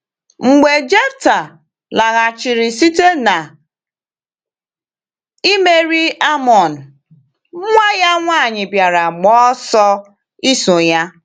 Mgbe Jefta laghachiri site na imeri Amọn, nwa ya nwanyị bịara gba ọsọ iso ya.